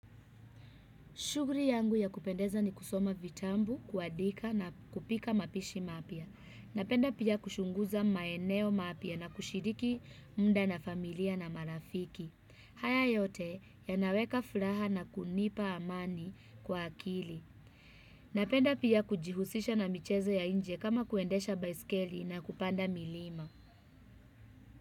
Shughuli yangu ya kupendeza ni kusoma vitabu, kuandika na kupika mapishi mapya. Napenda pia kuchunguza maeneo mapya na kushiriki muda na familia na marafiki. Haya yote yanaweka furaha na kunipa amani kwa akili. Napenda pia kujihusisha na michezo ya nje kama kuendesha baiskeli na kupanda milima.